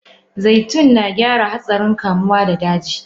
Zaitun narage hatssarin kamuwa da daji.